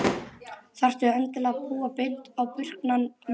Þarftu endilega að púa beint á burknann maður?